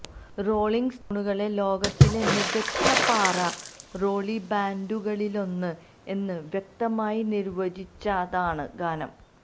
rolling സ്റ്റോണുകളെ ലോകത്തിലെ മികച്ച പാറ റോളി ബാൻഡുകളിലൊന്ന് എന്ന് വ്യക്തമായി നിർവചിച്ചതാണ് ഗാനം